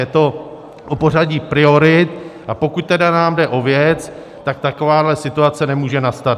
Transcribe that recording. Je to o pořadí priorit, a pokud teda nám jde o věc, tak takováhle situace nemůže nastat.